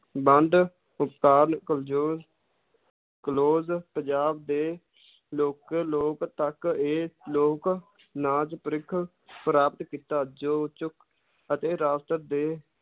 ਵੰਡ ਕਲੋਜ਼ ਪੰਜਾਬ ਦੇ ਲੋਕ ਲੋਕ ਤੱਕ ਇਹ ਲੋਕ ਨਾਚ ਪ੍ਰਿਖ~ ਪ੍ਰਾਪਤ ਕੀਤਾ ਜੋ ਚੁੱਕ~ ਅਤੇ ਰਾਸ਼ਟਰ ਦੇ